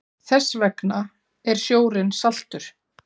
Þess vegna er sjórinn saltur.